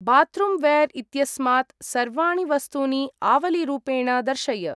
Bathroom ware इत्यस्मात् सर्वाणि वस्तूनि आवलीरूपेण दर्शय।